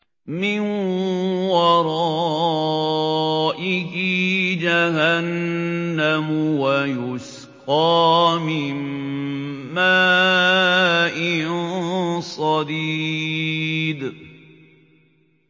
مِّن وَرَائِهِ جَهَنَّمُ وَيُسْقَىٰ مِن مَّاءٍ صَدِيدٍ